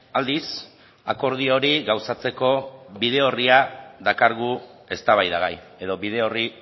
aldiz akordio hori gauzatzeko bide orria dakargu eztabaidagai edo bide orri